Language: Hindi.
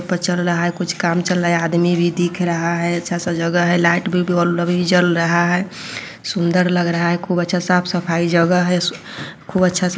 --पर चल रहा है कुछ काम चल रहा है यह आदमी भी दिख रहा है अच्छा-सा जगा है लाइट और बल्ब भी जल रहा है सुंदर लग रहा है खूब अच्छा साफ- सफाई जगा है खूब अच्छा --